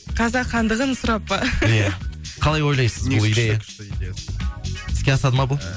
қазақ хандығын сұрап па иә қалай ойлайсыз іске асады ма бұл